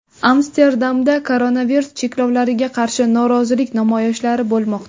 Amsterdamda koronavirus cheklovlariga qarshi norozilik namoyishlari bo‘lmoqda.